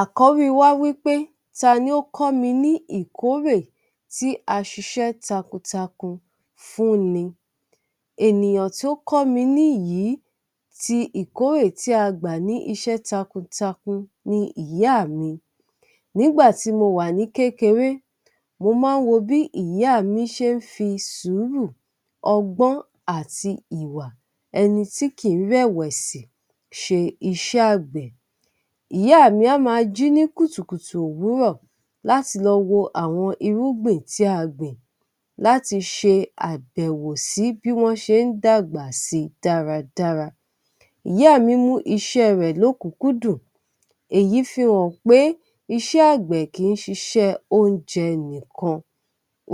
Àkórí wá wí pé ta ni ó kọ́ mi ní ìkórè tí a ṣiṣẹ́ takuntakun fúnni? Ènìyàn tó kọ́ mi ní yìí ti ìkórè tí a gbà ní iṣẹ́ takuntakun ni ìyá mi. Nígbà tí mo wà ní kékeré, mo má ń wo bí ìyá mí ṣe ń fi sùúrù, ọgbọ́n, àti ìwà ẹni tí kì í rẹ̀wẹ̀sì ṣe iṣẹ́ àgbẹ̀. Ìyá m a má jí ní kùtùkùtù òwúrọ̀ láti lọ wo àwọn irúgbìn tí a gbìn, láti ṣe àbẹ̀wò sí bí wọ́n ṣe ń dàgbà si dáradára. Ìyá mí mú iṣẹ́ rẹ̀ lókùúkúdù, èyí fihàn pé ṣẹ́ àgbẹ̀ kì í ṣiṣẹ́ oúnjẹ nìkan.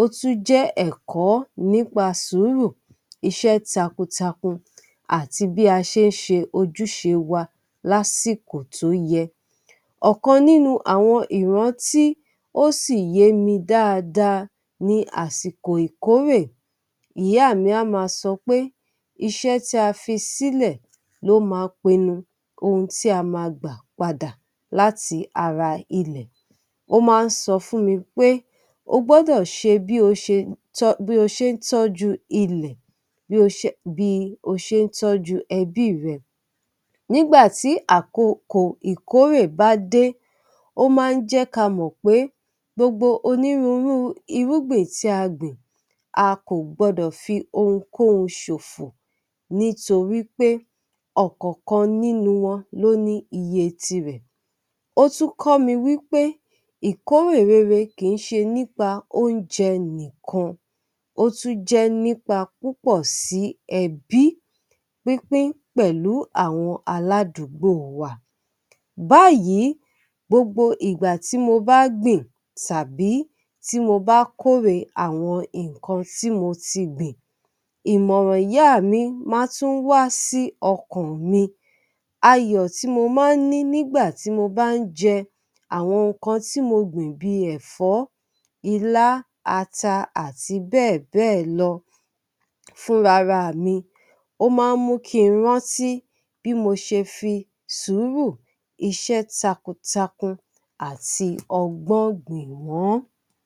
Ó tún jẹ́ ẹ̀kọ́ nípa sùúrù, iṣẹ́ takuntakun àti bí a ṣe ń ṣe ojúṣe wa lásìkò tó yẹ. Ọ̀kan nínú àwọn ìrántí tí ó sì yé mi dáadáa ni àsìkò ìkórè. Ìyá mi á máa sọ pé iṣẹ́ tí a fi sílẹ̀ ló ma pinnu ohun tí a ma gbà padà láti ara ilẹ̀. Ó máa ń sọ fún mi pé, o gbọ́dọ̀ ṣe bí o ṣe um ń tọ́jú ilẹ̀ um bí o ṣe ń tọ́jú ẹbí rẹ. Nígbà tí àkokò ìkórè bá dé, ó máa ń jẹ́ ka mọ̀ pé gbogbo onírúurú irúgbìn tí a gbìn, a kò gbọdọ̀ fi ohunkóhun ṣòfò. Nítorí pé ọ̀kọ̀ọ̀kan nínú wọn ló ní iye tirẹ̀. Ó tún kọ́ mi wí pé ìkórè rere kì í ṣe nípa oúnjẹ nìkan, ó tún jẹ́ nípa púpọ̀ sí ẹbí, pínpín pẹ̀lú àwọn aládùúgbò wa. Báyìí gbogbo ìgbà tí mo bá gbìn tàbí tí mo bá kórè àwọn nǹkan tí mo ti gbìn, ìmọ̀ràn ìyá mi máa tún ń wá sí ọkàn mi. Ayọ̀ tí mo máa ń ní nígbà tí mo bá ń jẹ àwọn nǹkan tí mo gbìn bíi ẹ̀fọ́, ilá, ata, àti bẹ́ẹ̀ bẹ́ẹ̀ lọ fúnra ra mi. Ó ma ń mú kí n rántí bí mo ṣe fi sùúrù, iṣẹ́ takuntakun àti ọgbọ́n gbìn wọ́n.